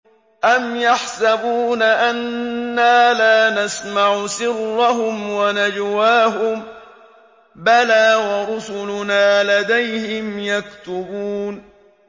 أَمْ يَحْسَبُونَ أَنَّا لَا نَسْمَعُ سِرَّهُمْ وَنَجْوَاهُم ۚ بَلَىٰ وَرُسُلُنَا لَدَيْهِمْ يَكْتُبُونَ